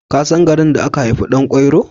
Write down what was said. Ka san garin da aka haifi Ɗan kwairo?